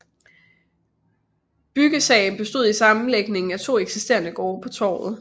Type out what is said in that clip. Byggesagen bestod i sammenlægningen af to eksisterende gårde på Torvet